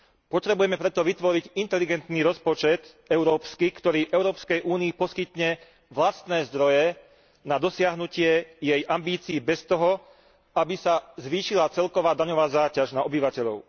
Potrebujeme preto vytvoriť inteligentný rozpočet európsky, ktorý Európskej únii poskytne vlastné zdroje na dosiahnutie jej ambícií bez toho, aby sa zvýšila celková daňová záťaž na obyvateľov.